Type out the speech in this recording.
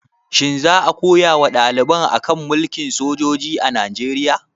Shin za a koya wa ɗaliban a kan mulkin sojoji a Najeriya?